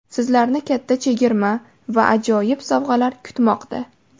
Sizlarni katta chegirma va ajoyib sovg‘alar kutmoqda.